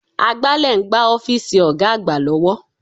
Agbálẹ̀ ń gbá ọ́fíìsì Ọ̀ga àgbà lọ́wọ́